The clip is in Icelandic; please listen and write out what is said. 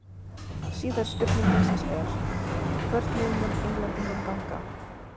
Síðari spurning dagsins er: Hvernig mun Englendingum ganga?